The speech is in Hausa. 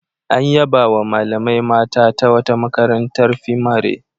An yabawa malamai mata ta wata makarantar fimare.